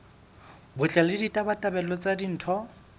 botle le ditabatabelo tsa ditho